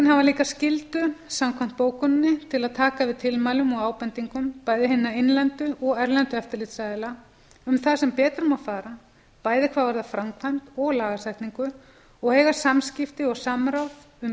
líka skyldu samkvæmt bókuninni til að taka við tilmælum og ábendingum bæði hinna innlendu og erlendu eftirlitsaðila um það sem betur má fara bæði hvað varðar framkvæmd og lagasetningu og eiga samskipti og samráð um